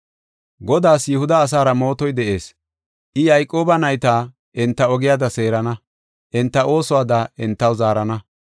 Godaas Yihuda asaara mootoy de7ees; I Yayqooba nayta enta ogiyada seerana; enta oosuwada entaw zaarana.